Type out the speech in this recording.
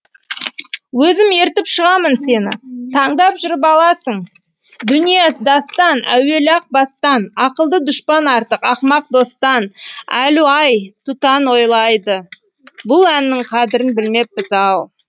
өзім ертіп шығамын сені тандап жүріп аласың дүние дастан әуелі ақ бастанақылды дұшпан артықақымақ достан әлу ай тұтан ойлайды бұл әннің қадірін білмеппіз ау